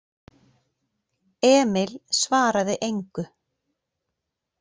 Emil svaraði engu.